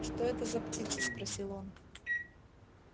что это за птица спросил он